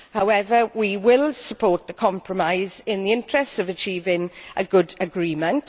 However, we will support the compromise in the interests of achieving a good agreement.